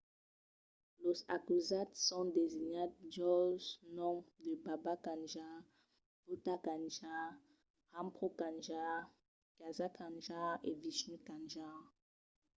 los acusats son designats jols noms de baba kanjar bhutha kanjar rampro kanjar gaza kanjar e vishnu kanjar